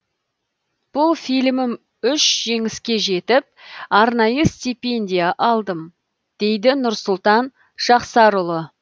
бұл фильмім үш жеңіске жетіп арнайы стипендия алдым дейді нұрсұлтан жақсарұлы